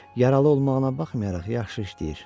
Yaralı olmağına baxmayaraq yaxşı işləyir.